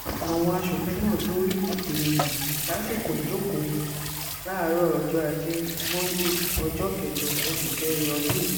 àwọn aṣòfin náà dórí ìpinnu yìí lásìkò ìjókòó wọn láàárọ̀ ọjọ́ ajé monde ọjọ́ kẹjọ oṣù kẹrin ọdún yìí